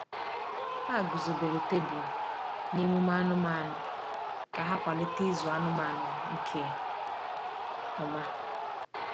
Ha guzobere tebụl na emume anụmanụ ka ha kwalite ịzụ anụmanụ nke ọma.